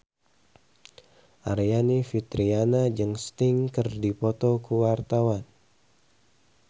Aryani Fitriana jeung Sting keur dipoto ku wartawan